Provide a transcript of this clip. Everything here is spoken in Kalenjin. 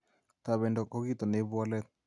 Tobendo ko kito neibu walet